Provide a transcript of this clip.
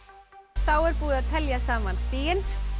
þá er búið að telja saman stigin